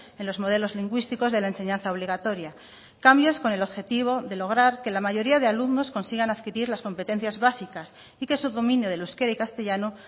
en los modelos lingüísticos de la enseñanza obligatoria cambios con el objetivo de lograr que la mayoría de alumnos consigan adquirir las competencias básicas y que su dominio del euskera y castellano